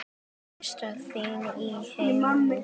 Elsta þing í heimi.